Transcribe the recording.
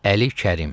Əli Kərim.